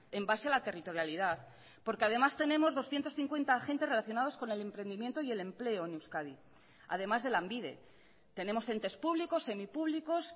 en base a la territorialidad porque además tenemos doscientos cincuenta agentes relacionados con el emprendimiento y el empleo en euskadi además de lanbide tenemos entes públicos semipúblicos